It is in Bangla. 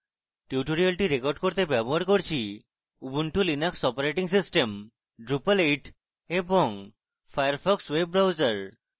tutorial record করতে ব্যবহার করছি Ubuntu Linux operating system drupal 8 এবং ফায়ারফক্স ওয়েব ব্রাউজার